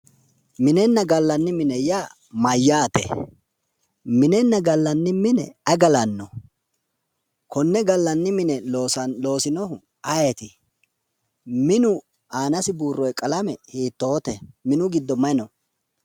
Minenna gallanni mine yaa mayyaate? Minenna gallanni mine ayi galanno? Konne gallanni mine loosinohu ayeeti ? Minu aanasi buurroyee qalame hiittoote? Minu giddo mayi no?